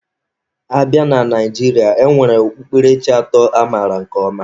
A bịa na Naijiria, e nwere okpukperechi atọ amaara nke ọma.